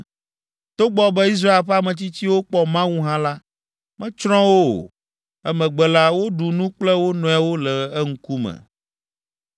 Togbɔ be Israel ƒe ametsitsiwo kpɔ Mawu hã la, metsrɔ̃ wo o. Emegbe la, woɖu nu kple wo nɔewo le eŋkume.